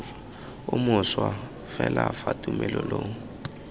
o mošwa fela fa tumelelo